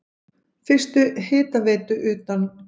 Fyrstu hitaveitu utan